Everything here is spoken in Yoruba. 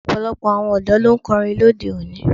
Ọ̀pọ̀lọpọ̀ àwọn ọ̀dọ́ ló ń kọrin lóde òní.